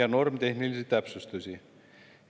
ja normitehnilisi täpsustusi.